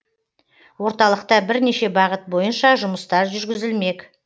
орталықта бірнеше бағыт бойынша жұмыстар жүргізілмек